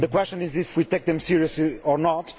The question is do we take them seriously or not?